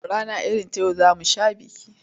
Rana irin ta yau za mu sha biki.